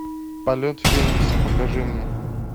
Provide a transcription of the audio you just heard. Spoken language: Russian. полет феникса покажи мне